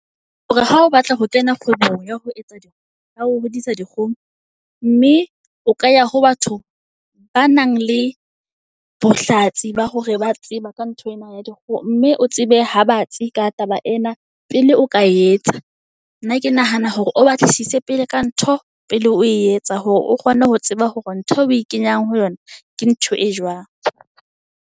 Hore ha o batla ho kena kgwebong ya ho etsa di ya ho hodisa di kgoho. Mme o ka ya ho batho ba nang le bohlatsi ba hore ba tseba ka ntho ena ya di kgoho. Mme o tsebe ha batsi ka taba ena pele o ka etsa. Nna ke nahana hore o batlisise pele ka ntho pele o e etsa, hore o kgone ho tseba hore ntho eo o e kenyang ho yona ke ntho e jwang.